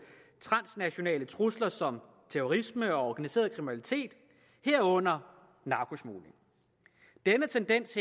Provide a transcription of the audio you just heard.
transnationale trusler som terrorisme og organiseret kriminalitet herunder narkosmugling denne tendens